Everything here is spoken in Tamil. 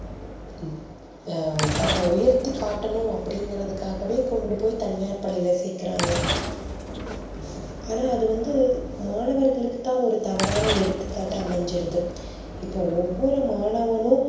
தன்ன உயர்த்தி காட்டனும் அப்படி இங்கர்துக்காகவே கொண்டு போய் தனியார் பள்ளியில கொண்டு போய் சேக்குறாங் ஆனா அது வந்து மாணவர்களுக்கு தா ஒரு தவறான எடுத்து காட்டா அமஞ்சிருது